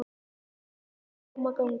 Réttlætið skal ná fram að ganga.